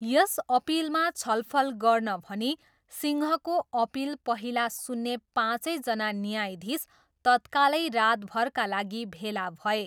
यस अपिलमा छलफल गर्न भनी सिंहको अपिल पहिला सुन्ने पाँचैजना न्यायाधीश तत्कालै रातभरका लागि भेला भए।